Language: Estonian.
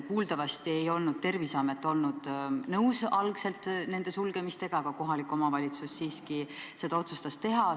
Kuuldavasti ei olnud Terviseamet algul nõus nende sulgemisega, aga kohalik omavalitsus siiski otsustas seda teha.